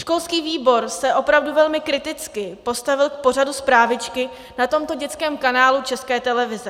Školský výbor se opravdu velmi kriticky postavil k pořadu Zprávičky na tomto dětském kanálu České televize.